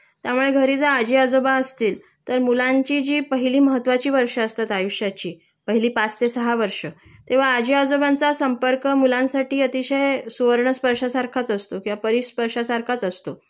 त्यामुळे घरी जर आजी आजोबा असतील तर मुलांची जी पहिली महत्वाची वर्ष असतात आयुष्याची पहिली पाच ते सहा वर्ष तेंव्हा आजी आजोबांचा संपर्क मुलांसाठी अतिशय सुवर्णस्पर्शा सारखाच असतो किंवा परिस्पर्शा सारखाच असतो